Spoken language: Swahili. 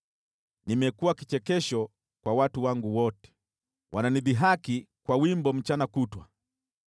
Nimekuwa kichekesho kwa watu wangu wote, wananidhihaki kwa wimbo mchana kutwa.